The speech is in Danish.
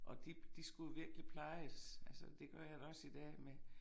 Og de de skulle virkelig plejes altså det gør jeg da også i dag med